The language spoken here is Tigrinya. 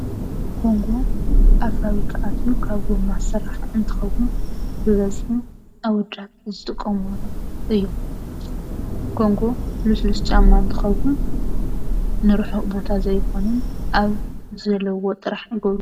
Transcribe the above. ጎንጎ ኣብ ፋብሪካ ኣትዩ ካብ ጎማ ዝስራሕ እንትኸዉን ብበዝሒ ኣወዳት ዝጥቀምሉ እዩ:: ኮንጎ ልስሉስ ጫማ እንትኸዉን ንርሑቕ ቦታ ዘይኽንን ኣብ ዘልውዋ ጥራሕ ዝገብርዎ እዩ ።